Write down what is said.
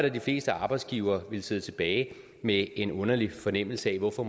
at de fleste arbejdsgivere ville sidde tilbage med en underlig fornemmelse af hvorfor